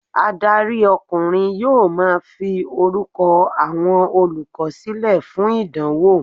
Adarí ọkùnrin yóò ma fi orúkọ àwọn olùkọ́ sílẹ̀ fún ìdánwò.